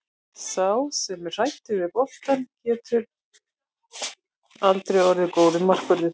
Sá sem er hræddur við boltann getur aldrei orðið góður markvörður.